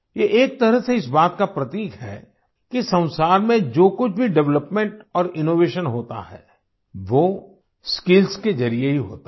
ये एक तरह से इस बात का प्रतीक है कि संसार में जो कुछ भी डेवलपमेंट और इनोवेशन होता है वो स्किल्स के जरिए ही होता है